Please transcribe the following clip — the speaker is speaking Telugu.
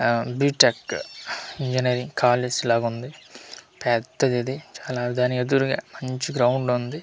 ఆ ది టెక్ ఇంగినీరింగ్ కాలేజ్ లాగా ఉంది పెద్దది ఇది చాలా దాని ఎదురుగా మంచి గ్రౌండ్ ఉంది చూట్--